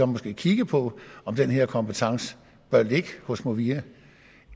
måske kiggede på om den her kompetence bør ligge hos movia